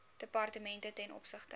departemente ten opsigte